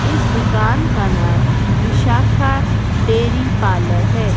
इस दुकान का नाम विशाखा डेयरी पार्लर है।